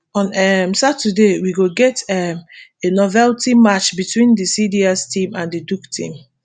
on um saturday we go get um a novelty match between di cds team and di duke team